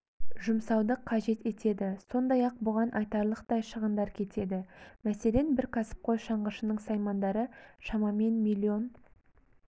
жұмсауды қажет етеді сондай-ақ бұған айтарлықтай шығындар кетеді мәселен бір кәсіпқой шаңғышының саймандары шамамен млн